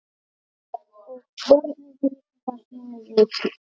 Og börn vita sínu viti.